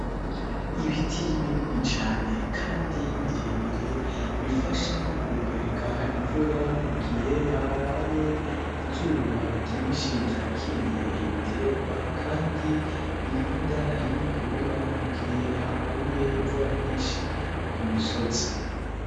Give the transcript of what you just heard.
Ibiti binini cane kandi birebire, bifasha mu gukwega imvura mu gihe habaye izuba ryinshi ryakiriye ibitegwa ,kandi birinda inkukura mu gihe haguye imvura nyinshi ku musozi.